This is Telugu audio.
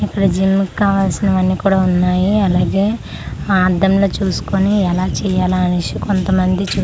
ఇక్కడ జిమ్ముకు కావాల్సినవన్నీ కూడా ఉన్నాయి అలాగే ఆ అద్దం లో చూసుకుని ఎలా చేయాల అనేసి కొంతమంది చూ--